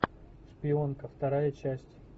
шпионка вторая часть